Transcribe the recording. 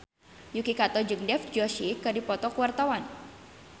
Yuki Kato jeung Dev Joshi keur dipoto ku wartawan